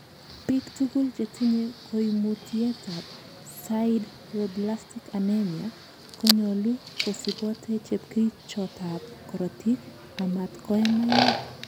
Biik tuguk chetinye koimutietab sideroblastic anemia konyolu kosibote chepkerichotab korotik amat koe maiwek.